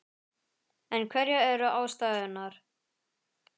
En hverjar eru ástæðurnar?